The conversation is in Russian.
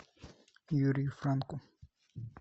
юрию франку